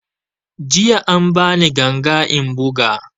Jiya an ba ni ganga in buga